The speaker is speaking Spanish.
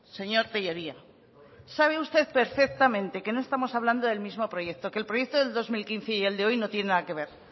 señor tellería sabe usted perfectamente que no estamos hablando del mismo proyecto que el proyecto del dos mil quince y el de hoy no tiene nada que ver